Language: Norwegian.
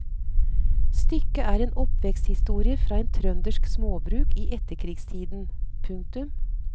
Stykket er en oppveksthistorie fra et trøndersk småbruk i etterkrigstiden. punktum